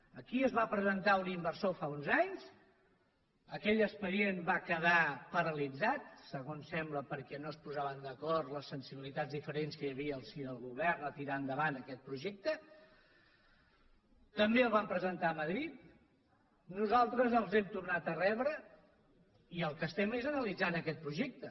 aquí es va presentar un inversor fa uns anys aquell expedient va quedar paralitzat segons sembla perquè no es posaven d’acord les sensibilitats diferents que hi havia al si del govern a tirar endavant aquest projecte també el van presentar a madrid nosaltres els hem tornat a rebre i el que fem és analitzar aquest projecte